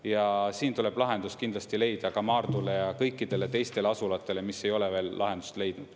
Ja siin tuleb lahendus kindlasti leida ka Maardule ja kõikidele teistele asulatele, mis ei ole veel lahendust leidnud.